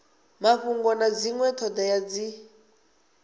mafhungo na dzinwe thodea dzi